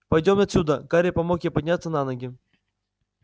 пойдём отсюда гарри помог ей подняться на ноги